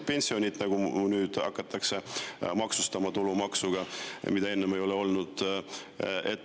Pensione hakatakse maksustama tulumaksuga, mida enne ei ole olnud.